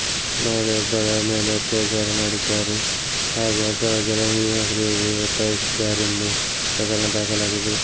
ಮಹಿಳೆಯೊಬ್ಬಳ ಮೇಲೆ ಅತ್ಯಾಚಾರ ಮಾಡಿದ್ದಾರೆ ಹಾಗೂ ಅಸಹಜ ಲೈಂಗಿಕ ಕ್ರಿಯೆಗೆ ಒತ್ತಾಯಿಸಿದ್ದಾರೆಂದು ಪ್ರಕರಣ ದಾಖಲಾಗಿದೆ